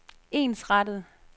ensrettet